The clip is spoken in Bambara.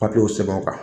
Papiyew sɛbɛnw kan